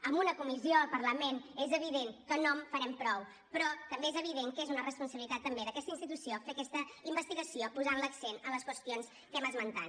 amb una comissió al parlament és evident que no en farem prou però també és evident que és una responsabilitat també d’aquesta institució fer aquesta investigació posant l’accent en les qüestions que hem esmentat